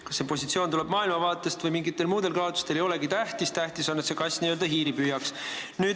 Kas see positsioon tuleneb maailmavaatest või on võetud mingitel muudel kaalutlustel, ei olegi tähtis, tähtis on, et n-ö see kass hiiri püüaks.